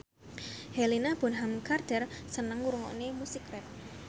Helena Bonham Carter seneng ngrungokne musik rap